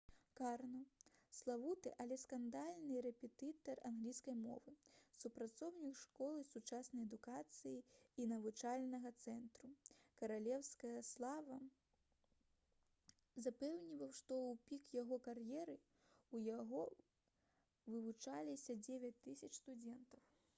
карно — славуты але скандальны рэпетытар англійскай мовы супрацоўнік школы «сучасная адукацыя» і навучальнага цэнтру «каралеўская слава» запэўніваў што ў пік яго кар'еры ў яго вывучаліся 9000 студэнтаў